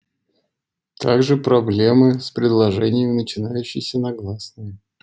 также проблемы с предложениями начинающиеся на гласные